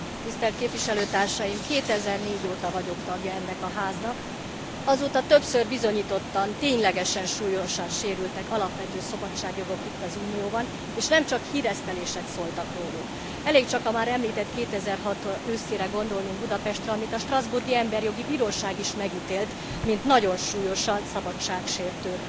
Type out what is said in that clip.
Tisztelt képviselőtársaim! 2004 óta vagyok tagja ennek a Háznak, azóta többször bizonyítottan, ténylegesen súlyosan sérültek alapvető szabadságjogok itt, az Unióban, és nem csak híresztelések szóltak róluk. Elég csak a már említett 2006 őszére gondolnunk, Budapestre, amit a strasbourgi Emberjogi Bíróság is megítélt, mint nagyon súlyosan szabadságsértő